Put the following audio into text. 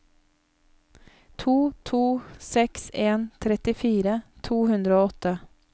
to to seks en trettifire to hundre og åtte